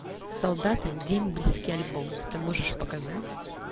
солдаты дембельский альбом ты можешь показать